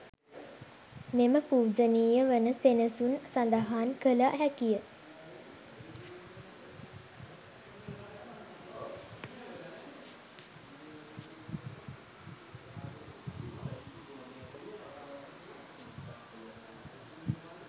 මෙම පූජනීය වන සෙනසුන සඳහන් කළ හැකිය.